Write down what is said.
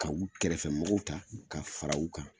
Ka u kɛrɛfɛ mɔgɔw ta, ka fara u kan.